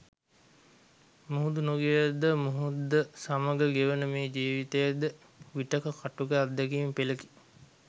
මුහුදු නොගිය ද මුහුද සමග ගෙවෙන මේ ජීවිතය ද විටෙක කටුක අත්දැකීම් පෙළකි.